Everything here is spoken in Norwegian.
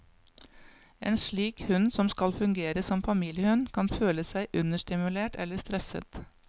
En slik hund som skal fungere som familiehund, kan føle seg understimulert eller stresset.